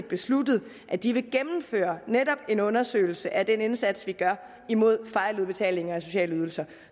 besluttet at de vil gennemføre en undersøgelse af netop den indsats vi gør imod fejludbetalinger af sociale ydelser